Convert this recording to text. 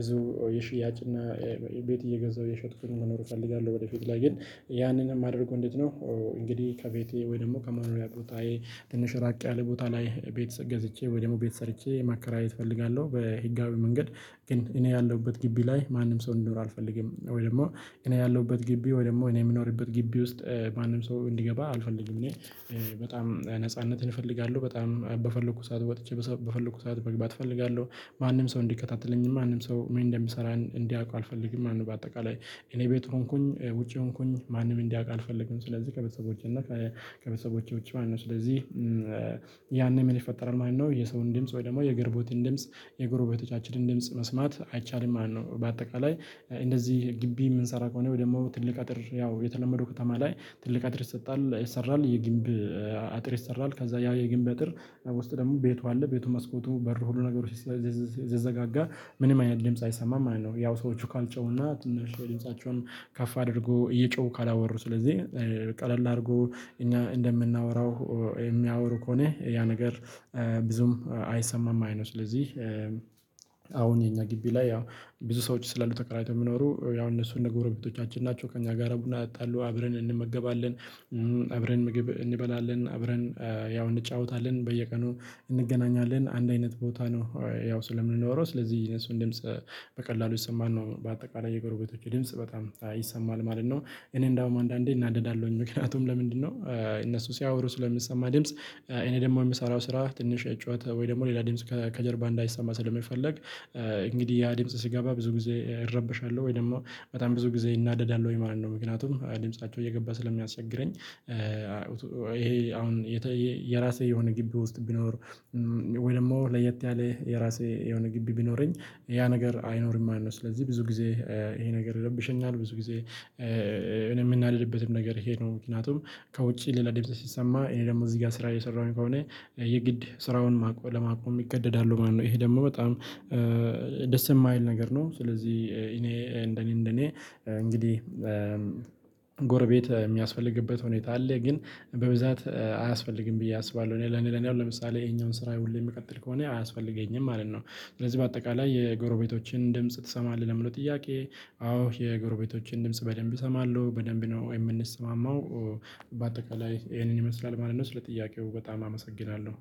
ብዙ የሽያጭ እና ቤት እየገዛሁ የሸጥኩኝ መኖር እፈልጋለሁ። ወደፊት ላይ ግን ያንን የማደርገው እንዴት ነው? እንግዲህ ከቤቴ ወይ ደግሞ ከማኑሪያ ቦታዬ ትንሽ ራቅ ያለ ቦታ ላይ ቤት ገዝቼ ወይ ደግሞ ቤት ሰርቼ ማከራየት እፈልጋለሁ። በህጋዊ መንገድ ግን እኔ ያለሁበት ግቢ ላይ ማንም ሰው እንዲኖር አልፈልግም ወይ ደግሞ እኔ ያለሁበት ግቢ ወይ ደግሞ እኔ የምኖርበት ግቢ ውስጥ ማንም ሰው እንዲገባ አልፈልግም። እኔ በጣም ነጻነትህን እፈልጋለሁ በጣም በፈለኩ ሰዓት ወጥቼ በፈለኩ ሰዓት መግባት እፈልጋለሁ። ማንም ሰው እንዲከታተለኝ ማንም ሰው ምን እንደምሰራ እንዲያውቁ አልፈልግም ማለት ነው። በአጠቃላይ እኔ ቤት ሆንኩኝ ውጪ ሆንኩኝ ማንም እንዲያውቅ አልፈልግም። ስለዚህ ከቤተሰቦቼ እና ከቤተሰቦቼ ውጪ ማለት ነው ስለዚህ ያኔ ምን ይፈጠራል ማለት ነው። የሰውን ድምጽ ወይ ደግሞ የገረቦትን ድምጽ የጎሮቤቶቻችንን ድምጽ መስማት አይቻልም ማለት ነው። በአጠቃላይ እንደዚህ ግቢ የምንሰራ ከሆነ ወይ ደግሞ ትልቅ አጥር ያው የተለመደው ከተማ ላይ ትልቅ አጥር ይሰጣል ይሰራል የግንብ አጥር ይሰራል ከዛ ያ የግንብ አጥር ውስጥ ደግሞ ቤቱ አለ ቤቱ መስኮቱ በሩ ሁሉ ነገሮች ሲዘጋጋ ምንም አይነት ድምጽ አይሰማም ማለት ነው። ያው ሰዎቹ ካልጮሁና ትንሽ ድምፃቸውን ከፍ አድርጎ እየጮሁ ካላወሩ ስለዚህ ቀለል አርጎ እኛ እንደምናወራው የሚያወሩ ከሆነ ያ ነገር ብዙም አይሰማም ማለት ነው። ስለዚህ አሁን የኛ ግቢ ላይ ያው ብዙ ሰዎች ስላሉ ተከራይተው የሚኖሩ ያው እነሱን እና ጎረቤቶቻችን ናቸው ከእኛ ጋራ ቡና እጠጣሉ አብረን እንመገባለን። አብረን ምግብ እንበላለን አብረን ያው እንጫወታለን በየቀኑ እንገናኛለን አንድ አይነት ቦታ ነው። ያው ስለምንኖረው ስለዚህ የእነሱ ድምጽ በቀላሉ ይሰማል ነው በአጠቃላይ የጎረቤቶቼ ድምጽ በጣም ይሰማል ማለት ነው። እኔ እንደውም አንዳንዴ እናደዳለሁኝ ምክንያቱም ለምንድነው? እነሱ ሲያወሩ ስለምሰባ ድምጽ እኔ ደግሞ የምሰራው ስራ ትንሽ የጨዋታ ወይ ደግሞ ሌላ ድምጽ ከጀርባ እንዳይሰማ ስለሚፈልግ እንግዲህ ያ ድምጽ ሲገባ ብዙ ጊዜ እረበሻለሁ ወይ ደግሞ በጣም ብዙ ጊዜ እናደዳለሁኝ ማለት ነው። ምክንያቱም ድምፃቸው እየገባ ስለሚያስቸግረኝ ይሄ አሁን የራሴ የሆነ ግቢ ውስጥ ቢኖር ወይ ደግሞ ለየት ያለ የራሴ የሆነ ግቢ ቢኖረኝ ያ ነገር አይኖርም ማለት ነው። ስለዚህ ብዙ ጊዜ ይሄ ነገር ይረብሸኛል ብዙ ጊዜ እኔ የምናደድበትም ነገር ይሄ ነው። ምክንያቱም ከውጪ ሌላ ድምጽ ሲሰማ እኔ ደግሞ እዚህ ጋር ስራ እየሰራሁኝ ከሆነ የግድ ስራውን ማቆም ለማቆም ይገደዳለው ማለት ነው። ይሄ ደግሞ በጣም ደስ የማይል ነገር ነው። ስለዚህ እኔ እንደኔ እንደኔ እንግዲህ ጎረቤት የሚያስፈልግበት ሁኔታ አለ ግን በብዛት አያስፈልግም ብዬ አስባለሁ። እኔ ለኔ ለኔ አሁን ለምሳሌ ይሄንን ስራ ሁሌ የምቀጥል ከሆነ አያስፈልገኝም ማለት ነው። ስለዚህ በአጠቃላይ የጎረቤቶችን ድምጽ ትሰማለህ ለሚለው ጥያቄ? አዎ የጎረቤቶችን ድምጽ በደንብ እሰማለሁ በደንብ ነው የምንሰማማው በአጠቃላይ ይሄንን ይመስላል ማለት ነው። ስለ ጥያቄው በጣም አመሰግናለሁ